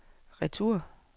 retur